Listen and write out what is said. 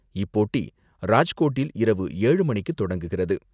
இப்போட்டி ராஜ்கோட்டில் இரவு எழு மணிக்கு தொடங்குகிறது.